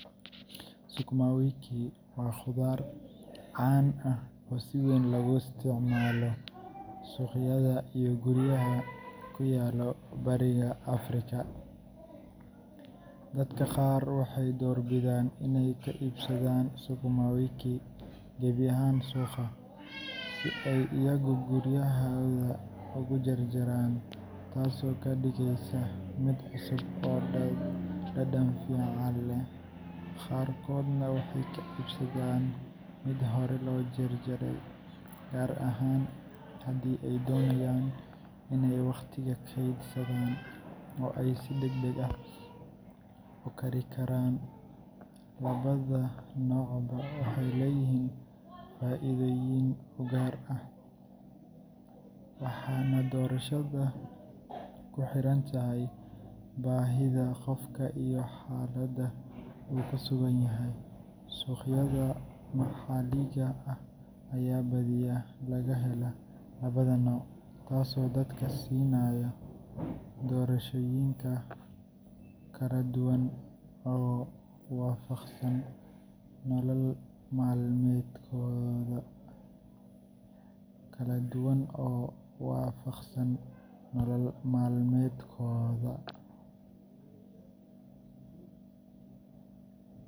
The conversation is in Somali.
Sukumawiki waa khudaar caan ah oo si weyn looga isticmaalo suuqyada iyo guryaha ku yaalla Bariga Afrika. Dadka qaar waxay doorbidaan inay ka iibsadaan sukumawiki gebi ahaan suuqa, si ay iyagu guryahooda ugu jarjaraan, taasoo ka dhigaysa mid cusub oo dhadhan fiican leh. Qaarkoodna waxay ka iibsadaan mid hore loo jarjaray, gaar ahaan haddii ay doonayaan in ay waqtiga kaydsadaan oo ay si degdeg ah u karikaraan. Labada noocba waxay leeyihiin faa’iidooyin u gaar ah, waxaana doorashada ku xiran tahay baahida qofka iyo xaaladda uu ku sugan yahay. Suuqyada maxalliga ah ayaa badiyaa laga helaa labada nooc, taasoo dadka siinaysa doorashooyin kala duwan oo waafaqsan nolol maalmeedkooda.